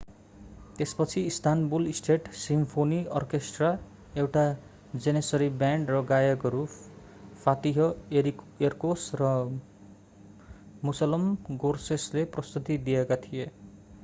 त्यसपछि Istanbul state symphony orchestra एउटा Janissary band र गायकहरू फातिह एरकोस र मुसलम गोर्सेसले प्रस्तुति दिएका थिए